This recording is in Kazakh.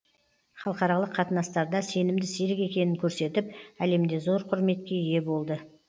халықаралық қатынастарда сенімді серік екенін көрсетіп әлемде зор құрметке ие болды